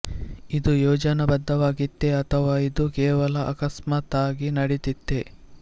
ಇದು ಯೋಜನಾ ಬದ್ಧವಾಗಿತ್ತೇ ಅಥವಾ ಇದು ಕೇವಲ ಆಕಸ್ಮಾತಾಗಿ ನಡೆದಿತ್ತೇ